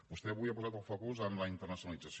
vostè avui ha posat el focus en la internacionalització